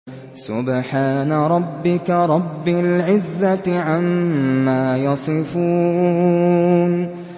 سُبْحَانَ رَبِّكَ رَبِّ الْعِزَّةِ عَمَّا يَصِفُونَ